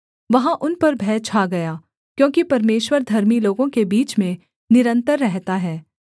वहाँ उन पर भय छा गया क्योंकि परमेश्वर धर्मी लोगों के बीच में निरन्तर रहता है